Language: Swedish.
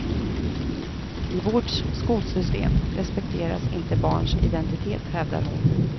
I vårt skolsystem respekteras inte barns identitet, hävdar hon.